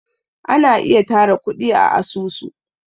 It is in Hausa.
ana ayi tara kudi a asusu